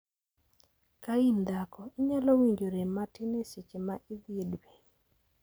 Ka in dhako, inyalo winjo rem matin e seche ma idhi e dwe.